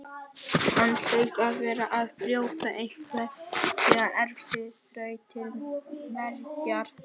Hann hlaut að vera að brjóta einhverja erfiða þraut til mergjar.